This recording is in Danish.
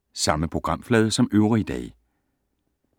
Samme programflade som øvrige dage